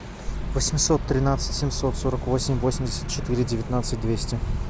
восемьсот тринадцать семьсот сорок восемь восемьдесят четыре девятнадцать двести